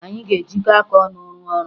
Anyị ga-ejikọ aka ọnụ rụọ ọrụ